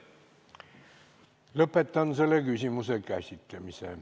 Lõpetan selle küsimuse käsitlemise.